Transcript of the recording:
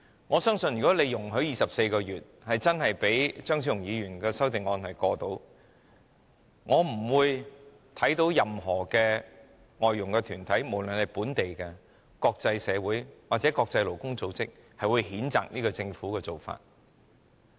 我相信如果當局容許把檢控時限定為24個月，讓張超雄議員的修正案通過，我看不到有任何外傭團體，無論是本地或國際社會或國際勞工組織會譴責政府的做法。